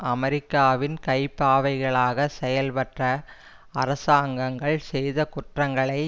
அமெரிக்காவின் கைப்பாவைகளாகச் செயல்பட்ட அரசாங்கங்கள் செய்த குற்றங்களை